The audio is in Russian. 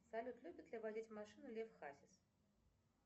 салют любит ли водить машину лев хасис